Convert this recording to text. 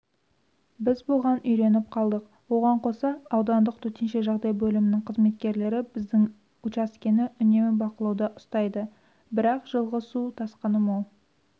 біз бұған үйреніп қалдық оған қоса аудандық төтенше жағдайлар бөлімінің қызметкерлері біздің учаскені үнемі бақылауда ұстайды бірақ жылғы су тасқыны мол